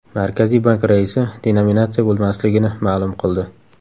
Markaziy bank raisi denominatsiya bo‘lmasligini ma’lum qildi.